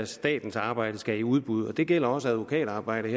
statens arbejde skal i udbud og det gælder også advokatarbejde